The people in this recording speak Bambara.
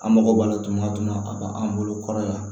An mago b'a la tunatuna a ka an bolo kɔrɔ yan